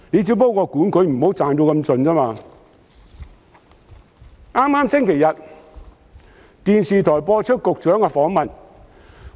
在剛過去的星期天，電視台播出局長的訪問。